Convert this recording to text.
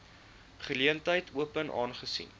geleentheid open aangesien